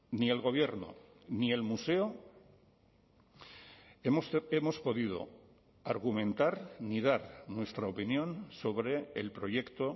ni el gobierno ni el museo hemos podido argumentar ni dar nuestra opinión sobre el proyecto